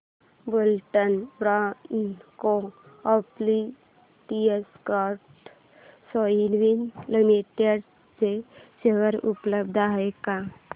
Buldhana urban cooperative credit society limited चे share उपलब्ध आहेत का